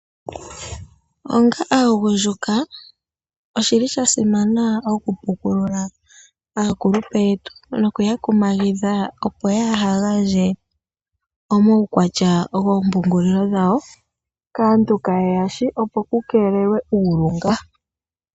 Onga aagundjuka oshili sha simana oku pukulula aakulupe yetu noku yakumagidha opo kaya gandje omaukwatya gomapungulilo gawo kaantu mboka kayeeshi opo ku keelelwe uulunga .